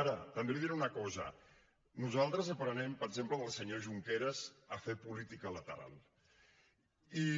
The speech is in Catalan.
ara també li diré una cosa nosaltres aprenem per exemple del senyor junqueras a fer política lateral i